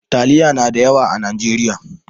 Taliya na da yawa a Najeriya.